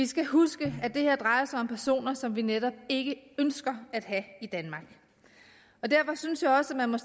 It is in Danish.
skal huske at det her drejer sig om personer som vi netop ikke ønsker at have i danmark og derfor synes jeg også at man